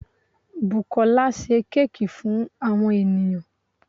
Bùkólá se cake fún àwon ènìyãn